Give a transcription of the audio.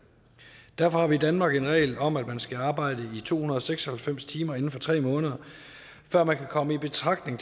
derfor har vi i danmark en regel om at man skal arbejde to hundrede og seks og halvfems timer inden for tre måneder før man kan komme i betragtning og